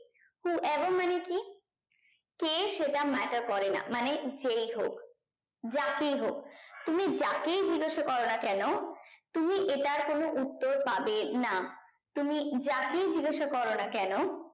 who ever মানে কি কে সেটা matter করে না মানে যেই হোক যাকেই হোক তুমি যাকেই জিজ্ঞাসা করোনা কেন তুমি এটার কোন উত্তর পাবে না তুমি যাকেই জিজ্ঞাসা করোনা কেন